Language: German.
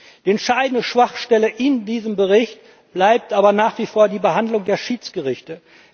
Die entscheidende Schwachstelle in diesem Bericht bleibt aber nach wie vor die Behandlung der Schiedsgerichte.